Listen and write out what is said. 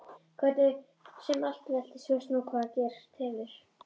Hvernig sem allt veltist veistu nú hvað gerst hefur.